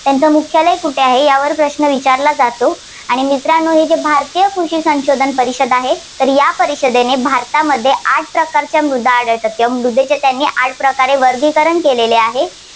त्यांचे मुख्यालय कुठे आहे, यावरत प्रश्न विचारला जातो. आणि मित्रांनो हे जे भारतीय कृषी संशोधन परिषद आहे तर या परिषदेने भारतामध्ये आठ प्रकारच्या मृदा आहेत, त्या मृदेचे त्यांनी आठ प्रकारे वर्गिकरण केलेले आहे.